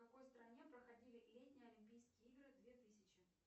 в какой стране проходили летние олимпийские игры две тысячи